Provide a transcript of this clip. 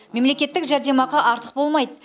мемлекеттік жәрдемақы артық болмайды